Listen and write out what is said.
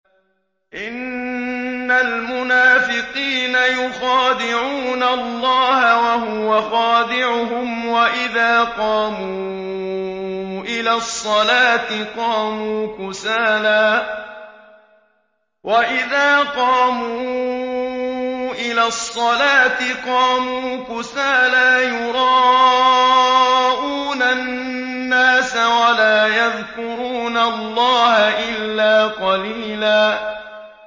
إِنَّ الْمُنَافِقِينَ يُخَادِعُونَ اللَّهَ وَهُوَ خَادِعُهُمْ وَإِذَا قَامُوا إِلَى الصَّلَاةِ قَامُوا كُسَالَىٰ يُرَاءُونَ النَّاسَ وَلَا يَذْكُرُونَ اللَّهَ إِلَّا قَلِيلًا